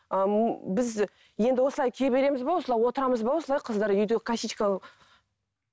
біз енді осылай кие береміз бе осылай отырамыз ба осылай қыздар үйде косичка